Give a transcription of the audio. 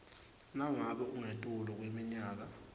nangabe ungetulu kweminyaka